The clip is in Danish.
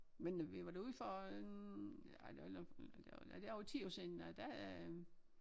Men øh vi var derude for en ej det var nok det var det over 10 år siden der øh